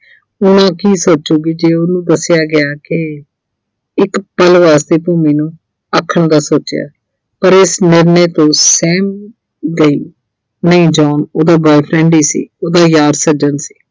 ਉਹ ਹੁਣ ਕੀ ਸੋਚੂਗੀ ਜੇ ਉਹਨੂੰ ਦੱਸਿਆ ਗਿਆ ਕਿ ਇੱਕ ਪਲ ਵਾਸਤੇ ਆਖਣ ਦਾ ਸੋਚਿਆ, ਪਰ ਇਸ ਨਿਰਨੇ ਤੋਂ ਸਹਿਮ ਗਈ। ਨਹੀਂ John ਉਹਦਾ boyfriend ਹੀ ਸੀ ਉਹਦਾ ਯਾਰ ਸੱਜਣ ਸੀ